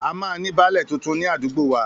A máa ní baálẹ̀ tuntun ní àdúgbò wa